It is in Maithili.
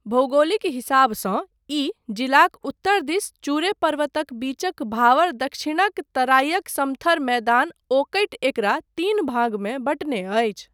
भौगोलिक हिसाबसँ ई जिलाक उत्तरदिस चुरे पर्वतक बीचक भावर दक्षिणक तराइक समथर मैदान ओकटि एकरा तीन भागमे बँटने अछि।